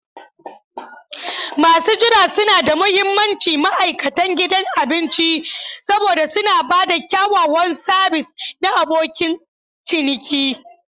Masu jira suna da mahimmanci ma'aikatan gidan abinci saboda suna ba da kyakkyawan sabis na abokin ciniki.